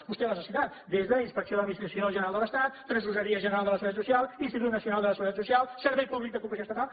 vostè les ha citat des d’inspecció de l’administració general de l’estat tresoreria general de la seguretat social institut nacional de la seguretat social servei públic de cooperació estatal